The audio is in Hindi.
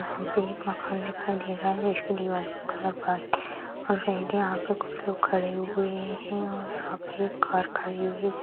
यहाँ पे एक मकान दिखाई दे रहा है इसके दीवाल का कलर वाइट और रेड है यहाँ पे कुछ लोग खड़े हुए हैं और यहाँ पे एक कार खड़ी हुई है।